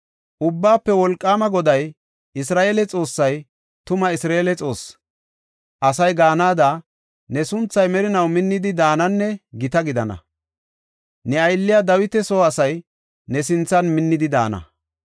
‘Ubbaafe Wolqaama Goday, Isra7eele Xoossay tuma Isra7eele Xoosse’ asay gaanada ne sunthay merinaw minnidi daananne gita gidana. Ne aylliya Dawita soo asay ne sinthan minnidi daana.